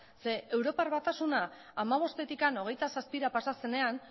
zeren eta europar batasuna hamabostetik hogeita zazpira pasa zenean